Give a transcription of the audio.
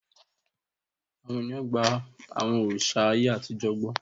Àwọn ènìyàn gba àwọn òrìṣà ayé àtijọ́ gbọ́.